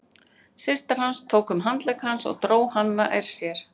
Systir hans tók um handlegg hans og dró hann nær sér.